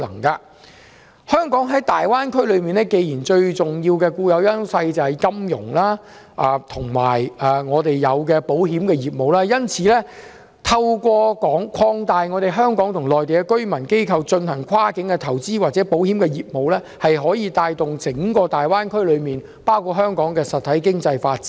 既然香港在大灣區內最重要的固有優勢是金融和保險業務，透過擴大香港和內地居民機構進行跨境投資或保險業務，可以帶動整個大灣區的實體經濟發展。